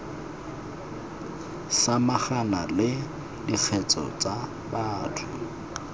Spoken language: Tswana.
samagana le dikgetse tsa batho